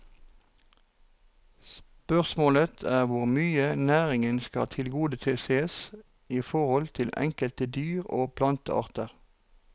Spørsmålet er hvor mye næringen skal tilgodesees i forhold til enkelte dyr og plantearter.